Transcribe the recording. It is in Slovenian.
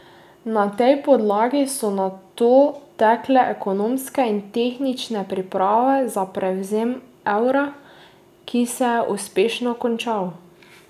Na tej podlagi so nato tekle ekonomske in tehnične priprave za prevzem evra, ki se je uspešno končal.